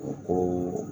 U ko